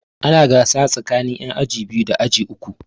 Ana gasa tsakanin yan aji biyu da aji uku.